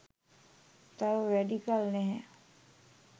තව වැඩි කල් නැහැ